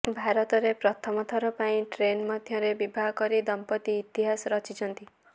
ଭାରତରେ ପ୍ରଥମ ଥର ପାଇଁ ଟ୍ରେନ ମଧ୍ୟରେ ବିବାହ କରି ଦମ୍ପତି ଇତିହାସ ରଚିଛନ୍ତି